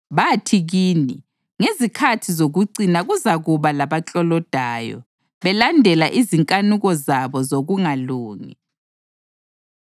Bathi kini, “Ngezikhathi zokucina kuzakuba labaklolodayo, belandela izinkanuko zabo zokungalungi.”